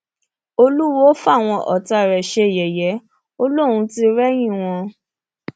olùwòo fáwọn ọtá rẹ ṣe yẹyẹ ò lóun tì rẹyìn wọn